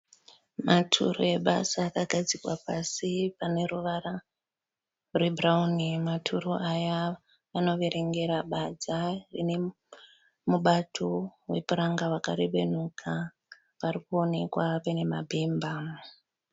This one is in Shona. Maturu ebasa akagadzikwa pasi pane ruvara rwebhurawuni. Maturu aya anoverengera badza rine mubato wepuranga wakarebenuka. Pari kuonekwa paine mabhemba.